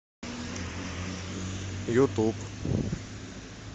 ютуб